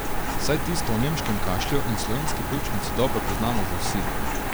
Saj tisto o nemškem kašlju in slovenski pljučnici dobro poznamo že vsi.